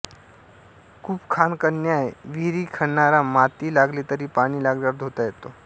कूपखानकन्याय विहीर खणणारा माती लागली तरी पाणी लागल्यावर धुता येतो